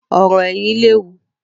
Ọ̀rò ẹ̀yìn léwu